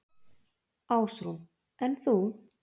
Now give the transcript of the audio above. Ásrún: En þú?